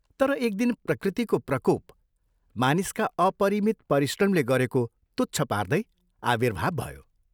तर एक दिन प्रकृतिको प्रकोप मानिसका अपरिमित परिश्रमले गरेको तुच्छ पार्दै आविर्भाव भयो।